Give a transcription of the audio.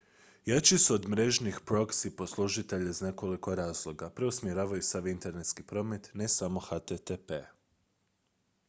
jači su od mrežnih proxy poslužitelja iz nekoliko razloga preusmjeravaju sav internetski promet ne samo http